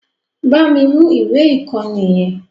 Bámi mú ìwé ìkọ́ni yẹn!